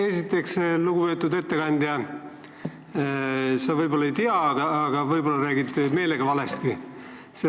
Esiteks, lugupeetud ettekandja, sa võib-olla ei tea, aga võib-olla räägid meelega valesti.